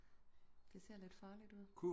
Det ser lidt farligt ud